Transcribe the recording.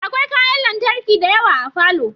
Akwai kayan lantarki dayawa a falo